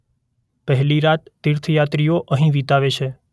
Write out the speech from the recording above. પહેલી રાત તીર્થયાત્રી અહીં વિતાવે છે.